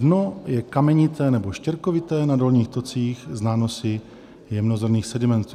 Dno je kamenité nebo štěrkovité, na dolních tocích s nánosy jemnozrnných sedimentů.